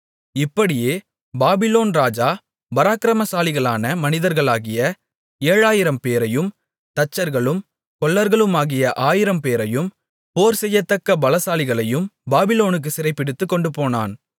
இப்படியே பாபிலோன் ராஜா பராக்கிரமசாலிகளான மனிதர்களாகிய ஏழாயிரம்பேரையும் தச்சர்களும் கொல்லர்களுமாகிய ஆயிரம்பேரையும் போர்செய்யத்தக்க பலசாலிகளையும் பாபிலோனுக்குச் சிறைபிடித்துக் கொண்டுபோனான்